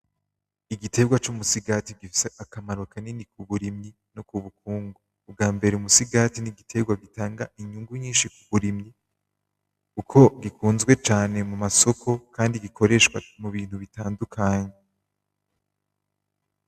Igiterwa c'umusigati gifise akamaro kanini kuburimyi no kubukungu, ubwambere umusigati ,n'igiterwa gitanga inyungu nyinshi kuburimyi kuko gikunzwe cane mumasoko Kandi gikoreshwa mubintu bitandukanye.